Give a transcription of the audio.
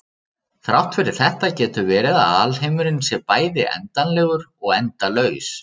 Þrátt fyrir þetta getur verið að alheimurinn sé bæði endanlegur og endalaus.